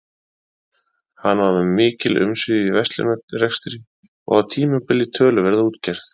Hann var með mikil umsvif í verslunarrekstri og á tímabili töluverða útgerð.